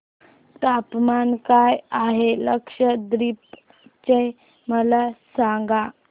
तापमान काय आहे लक्षद्वीप चे मला सांगा